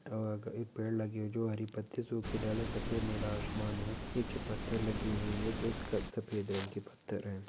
और एक पेड़ लगी हुई जो हरी पत्ती सुखी ढाली है सफ़ेद नीला आसमान है नीचे पत्थर लगी हुई है जो सफ़ेद रंग के पत्थर है।